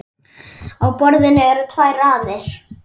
Á borðinu eru tvær raðir.